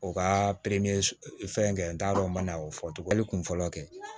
U ka fɛn kɛ n t'a dɔn n ma na o fɔ tugun a bɛ kun fɔlɔ kɛ